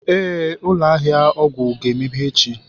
Ee, ụlọ ahịa ọgwụ ga-emeghe echi